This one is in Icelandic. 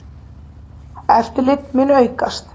Eftirlit mun aukast.